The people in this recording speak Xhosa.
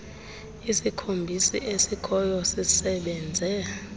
isikhombisi esikhoyo sisebenze